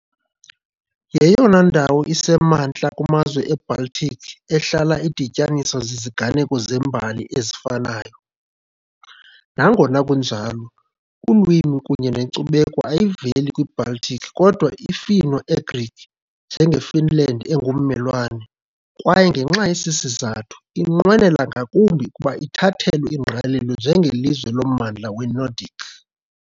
Yeyona ndawo isemantla kumazwe eBaltic, ehlala idityaniswa ziziganeko zembali ezifanayo, Nangona kunjalo ulwimi kunye nenkcubeko ayiveli kwiBaltic kodwa iFinno - Ugric, njengeFinland engummelwane, kwaye ngenxa yesi sizathu inqwenela ngakumbi ukuba ithathelwe ingqalelo njengelizwe lommandla weNordic.